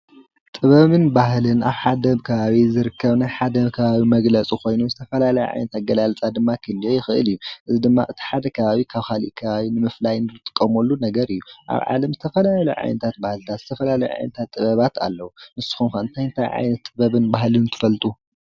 ጥበብን ባህልን ኣብ ሓደ ከባቢ ዝርከብ ናይ ሓደ ከባቢ መግለፂ ኮይኑ ዝተፈላለየ ዓይነት ኣገላልፃ ድማ ክህልዎ ይክእል እዩ፡፡ እዚ ድማ እቲ ሓደ ከባቢ ካብ ካሊእ ከባቢ ንምፍላይ እንጥቀመሉ ነገር እዩ። ኣብ ዓለም ዝተፈላለዩ ዓይነታት ባህልታት ዝተፈላለዩ ዓይነታት ጥበባት ኣለው፡፡ ንስኩም ከ እንታይ ታይ ዓይነት ጥበብ ጥበብን ባህልን ትፈልጡ?